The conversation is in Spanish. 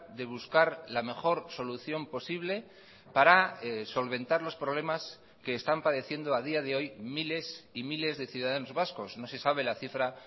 de buscar la mejor solución posible para solventar los problemas que están padeciendo a día de hoy miles y miles de ciudadanos vascos no se sabe la cifra